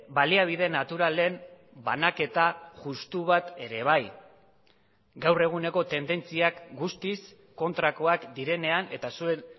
baliabide naturalen banaketa justu bat ere bai gaur eguneko tendentziak guztiz kontrakoak direnean eta zuen